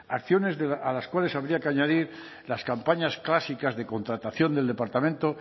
acciones a las cuales habría que añadir las campañas clásicas de contratación del departamento